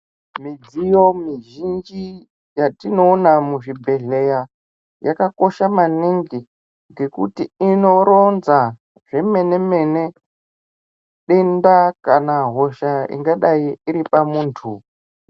Midziyo mizhinji yatinoona muzvibhedhleya yakakosha maningi. Ngekuti inoronza zvemene-mene denda kana hosha ingadai iri pamuntu.